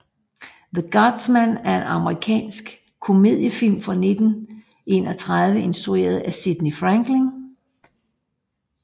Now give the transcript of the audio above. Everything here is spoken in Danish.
The Guardsman er en amerikansk komediefilm fra 1931 instrueret af Sidney Franklin